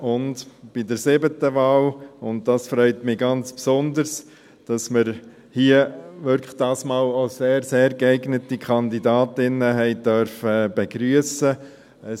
Zur siebten Wahl: Es freut mich ganz besonders, dass wir diesmal wirklich sehr geeignete Kandidatinnen begrüssen durften.